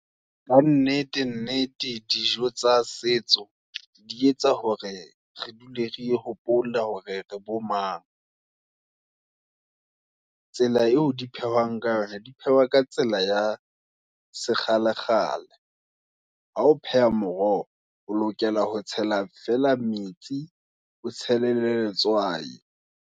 Ka nnete, nnete, dijo tsa setso, di etsa hore, re dule re hopola, hore re re bo mang. Tsela eo diphehwang ka yona, di phehwa ka tsela, ya se kgale, kgale, ha o pheha moroho, o lokela ho tshela fela metsi, o tshele le letswai.